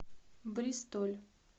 бристоль